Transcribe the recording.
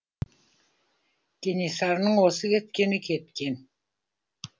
кенесарының осы кеткені кеткен